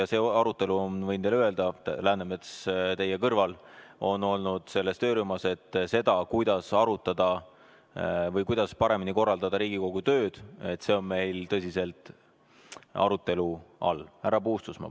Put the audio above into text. Ja see, võin teile öelda – Läänemets teie kõrval on olnud selles töörühmas –, kuidas paremini korraldada Riigikogu tööd, on meil tõsiselt arutelu all.